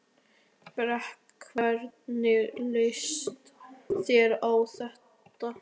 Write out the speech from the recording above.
Breki: Hvernig líst þér á þetta?